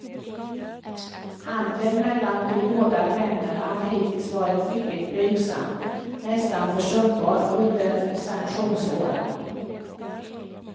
Handeln mellan de båda länderna har hittills varit mycket blygsam, nästan försumbar under sanktionsåren.